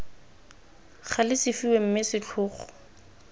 gale se fiwe mme setlhogo